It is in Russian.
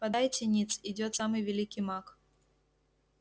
подайте ниц идёт самый великий маг